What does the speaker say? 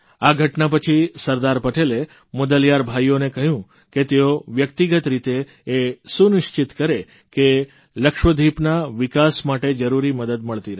આ ઘટના પછી સરદાર પટેલે મુદલીયાર ભાઇઓને કહ્યું કે તેઓ વ્યક્તિગત રીતે એ સુનિશ્ચિત કરે કે લક્ષદ્વિપના વિકાસ માટે જરૂરી મદદ મળતી રહે